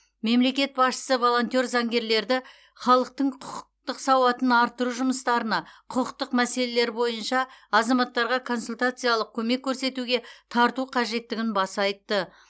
мемлекет басшысы волонтер заңгерлерді халықтың құқықтық сауатын арттыру жұмыстарына құқықтық мәселелер бойынша азаматтарға консультациялық көмек көрсетуге тарту қажеттігін баса айтты